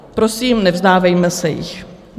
Prosím, nevzdávejme se jich.